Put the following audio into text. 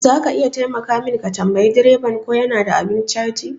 Zaka iya taimaka min ka tambayi direban ko yana da abun caji?